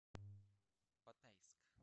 батайск